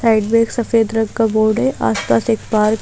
side मे एक सफेद रंग का बोर्ड है आसपास एक पार्क --